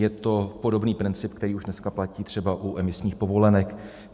Je to podobný princip, který už dneska platí třeba u emisních povolenek.